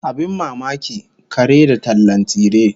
Abin mamaki, kare da tallan tsire!